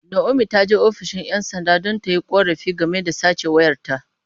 Naomi ta je ofishin ’yan sanda don yin korafi game da sace wayarta.